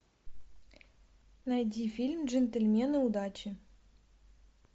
найди фильм джентельмены удачи